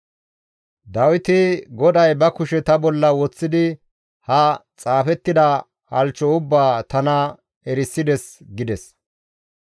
Dawiti, «GODAY ba kushe ta bolla woththidi ha xaafettida halchcho ubbaa tana erisides» gides.